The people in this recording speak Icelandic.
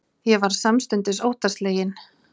Ég varð samstundis óttaslegin.